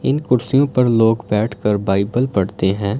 इन कुर्सियों पर लोग बैठकर बाइबल पढ़ते हैं।